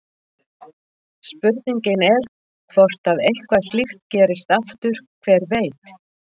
Spurningin er hvort að eitthvað slíkt gerist aftur, hver veit?